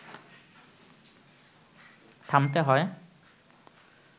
থামতে হয়